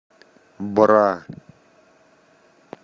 бра